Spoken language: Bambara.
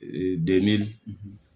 Ee de